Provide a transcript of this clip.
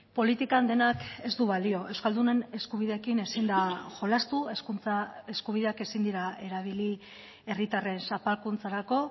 politikan denak ez du balio euskaldunen eskubideekin ezin da jolastu hezkuntza eskubideak ezin dira erabili herritarren zapalkuntzarako